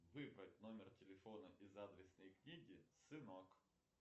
выбрать номер телефона из адресной книги сынок